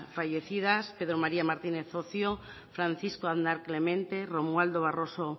fallecidas pedro maría martínez ocio francisco aznar clemente romualdo barroso